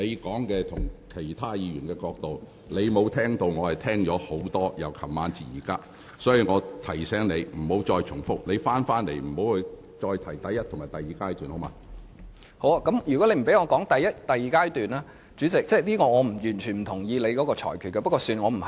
好的，如果你不讓我提述第一及第二階段......主席，我完全不同意你的裁決。